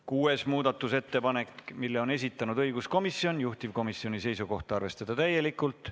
Kuuenda muudatusettepaneku on esitanud õiguskomisjon, juhtivkomisjoni seisukoht on arvestada seda täielikult.